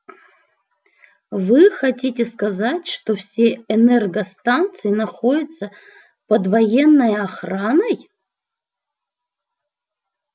вы хотите сказать что все энергостанции находятся под военной охраной